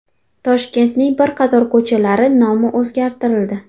Toshkentning bir qator ko‘chalari nomi o‘zgartirildi.